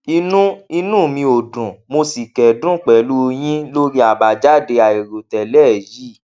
inú inú mi ò dùn mo sì kẹdùn pẹlú yín lórí àbájáde àìròtẹlẹ yìí